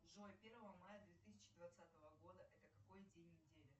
джой первого мая две тысячи двадцатого года это какой день недели